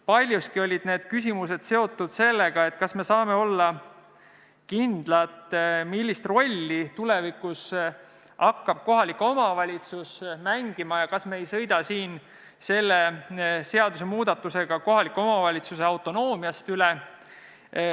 Paljuski olid need küsimused seotud sellega, kas me saame olla kindlad, millist rolli hakkab tulevikus mängima kohalik omavalitsus, ja kas me ei sõida selle seadusemuudatusega kohaliku omavalitsuse autonoomiast üle.